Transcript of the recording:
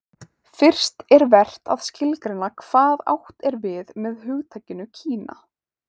fyrst er vert að skilgreina hvað átt er við með hugtakinu kína